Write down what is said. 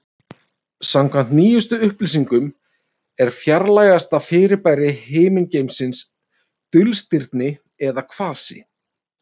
Samkvæmt nýjustu upplýsingum er fjarlægasta fyrirbæri himingeimsins dulstirni eða kvasi.